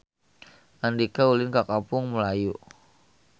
Andika ulin ka Kampung Melayu